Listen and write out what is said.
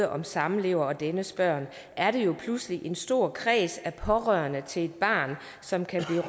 om samlever og dennes børn er det jo pludselig en stor kreds af pårørende til et barn som kan